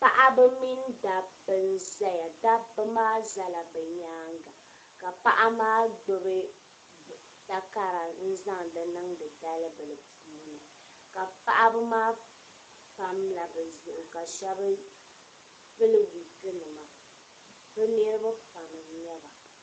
Paɣaba mini dabba n zaya dabba maa zala bɛ nyaanga ka paɣa maa gbibi takara n zaŋdi niŋdi dalibila puuni ka paɣaba maa pamla bɛ zuɣu ka sheba pili wiiki nima bɛ niriba pam n nyɛba.